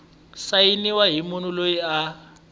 sayiniwa hi munhu loyi a